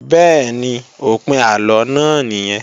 Bẹ́ẹ̀ni, òpin àlọ náà nìyẹn